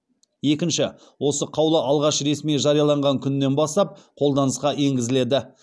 екінші осы қаулы алғашқы ресми жарияланған күнінен бастап қолданысқа енгізіледі